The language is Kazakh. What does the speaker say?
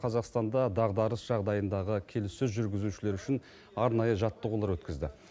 қазақстанда дағдарыс жағдайындағы келіссөз жүргізушілер үшін арнайы жаттығулар өткізді